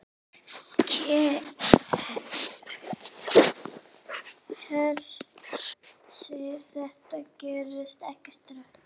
Hersir: Þetta gerist ekki strax?